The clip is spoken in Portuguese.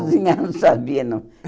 Cozinhar não sabia, não.